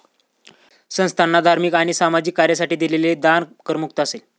संस्थाना धार्मिक आणि सामाजिक कार्यासाठी दिलेले दान करमुक्त असेल.